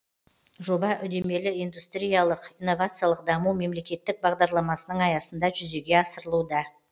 жоба үдемелі индустриялық инновациялық даму мемлекеттік бағдарламасының аясында жүзеге асырылуда